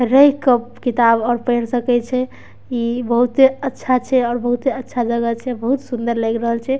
इ रह के किताब आर पढ़ सकय छैइ बहुते अच्छा छै और बहुते अच्छा जगह छै और बहुत ही सुन्दर लएग रहल छै।